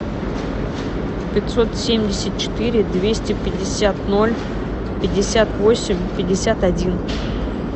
пятьсот семьдесят четыре двести пятьдесят ноль пятьдесят восемь пятьдесят один